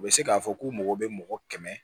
U bɛ se k'a fɔ k'u mago bɛ mɔgɔ kɛmɛ